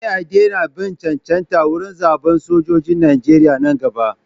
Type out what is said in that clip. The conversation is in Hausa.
Sai a daina bin cancanta wurin zaɓan sojojin Nijeriya nan gaba.